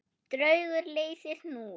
Draugur leysir hnút